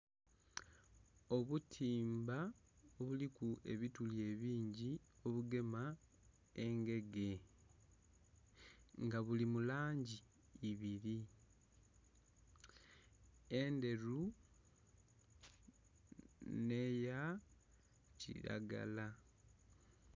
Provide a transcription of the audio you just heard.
Obutimba obuliku ebituli ebingi obugema engege, nga buli mu langi ibiri, endheru neya kiragala.